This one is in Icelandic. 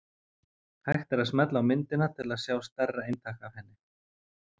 Hægt er að smella á myndina til að sjá stærra eintak af henni.